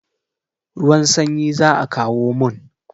Ruwan sanyi za a kawo mun.